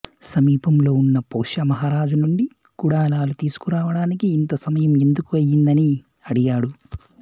సమీపంలో ఉన్న పౌష్యమహారాజు నుండి కుడలాలు తీసుకురావడానికి ఇంత సమయం ఎదుకు అయ్యింది అని అడిగాడు